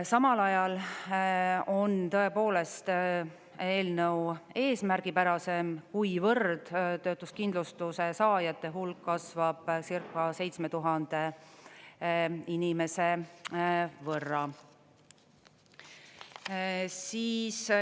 Samal ajal on tõepoolest eelnõu eesmärgipärasem, kuivõrd töötuskindlustuse saajate hulk kasvab circa 7000 inimese võrra.